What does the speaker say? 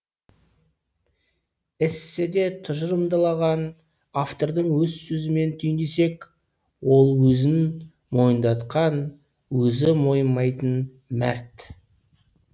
эсседе тұжырымдалған автордың өз сөзімен түйіндесек ол өзін мойындатқан өзі мойымайтын мәрт